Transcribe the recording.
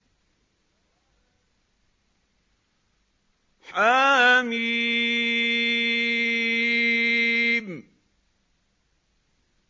حم